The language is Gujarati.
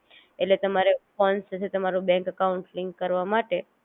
ઍટલે તમારે ફોન સાથે તમારું બેન્ક અકાઉંટ લિન્ક કરવા માટે